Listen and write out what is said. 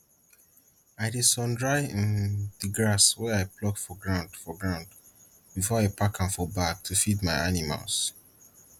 i dey sundry um di grass wey i pluck for ground for ground before i pack am for bag to feed my animals